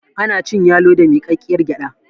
ana cin yalo da mikakkiyar gyada